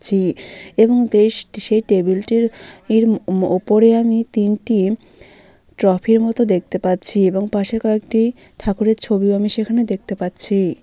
ছি এবং সেই টেবিলটির ইর উম উপরে আমি তিনটি ট্রফি -এর মত দেখতে পাচ্ছি এবং পাশে কয়েকটি ঠাকুরের ছবিও আমি সেখানে দেখতে পাচ্ছি।